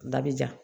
Dabijan